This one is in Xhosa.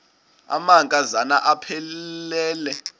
amanka zana aphilele